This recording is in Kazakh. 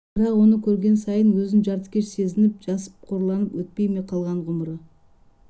бірақ оны көрген сайын өзін жартыкеш сезініп жасып қорланып өтпей ме қалған ғұмыры